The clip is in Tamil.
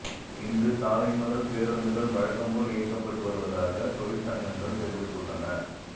இன்று காலை முதல் பேருந்துகள் வழக்கம்போல் இயக்கப்பட்டு வருவதாக தொழிற்சங்கங்கள் தெரிவித்துள்ளன